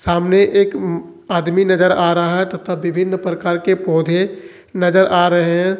सामने एक आदमी नजर आ रहा है तथा विभिन्न प्रकार के पौधे नजर आ रहे हैं।